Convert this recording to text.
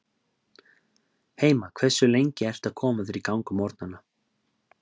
Heima Hversu lengi ertu að koma þér í gang á morgnanna?